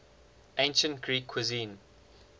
ancient greek cuisine